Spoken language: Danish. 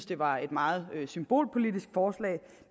det var et meget symbolpolitisk forslag